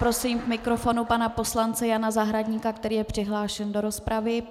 Prosím k mikrofonu pana poslance Jana Zahradníka, který je přihlášen do rozpravy.